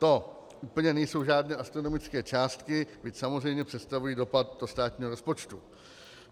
To úplně nejsou žádné astronomické částky, byť samozřejmě představují dopad do státního rozpočtu.